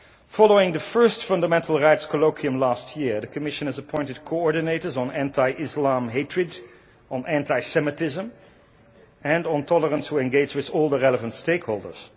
Following the first fundamental rights colloquium last year the Commission has appointed coordinators on anti Islam hatred, on anti Semitism and on tolerance to engage with all the relevant stakeholders.